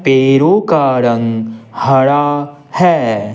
पैरों का रंग हरा है।